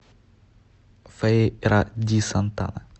фейра ди сантана